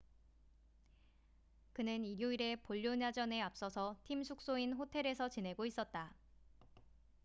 그는 일요일의 볼로냐전에 앞서서 팀 숙소인 호텔에서 지내고 있었다